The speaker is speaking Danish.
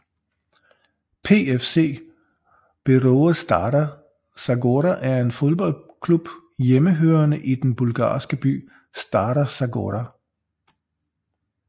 PFC Beroe Stara Zagora er en fodboldklub hjemmehørende i den bulgarske by Stara Zagora